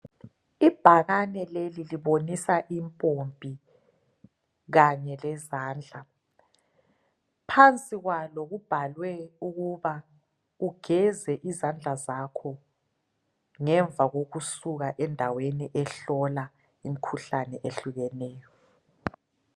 Ibhakane leli libonisa impompi kanye lezandla phansi kwalo kubhalwe ukuba ugeze izandla zakho ngemva kokusuka endaweni ehlola imkhuhlane ehlukeneyo